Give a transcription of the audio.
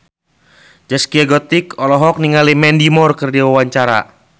Zaskia Gotik olohok ningali Mandy Moore keur diwawancara